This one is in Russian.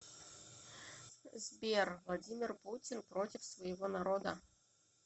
сбер владимир путин против своего народа